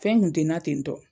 Fɛn kun tɛna ten tɔ